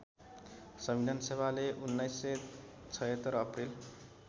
संविधानसभाले १९७६ April